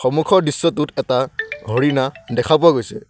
সন্মুখৰ দৃশ্য টোত এটা হৰিণা দেখা পোৱা গৈছে।